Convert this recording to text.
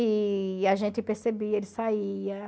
E a gente percebia, ele saía.